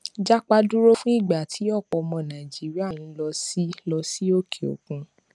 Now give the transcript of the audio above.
japa dúró fún ìgbà tí ọpọ ọmọ nàìjíríà ń lọ sí lọ sí òkè òkun